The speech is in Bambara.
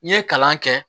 N'i ye kalan kɛ